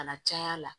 Kana caya la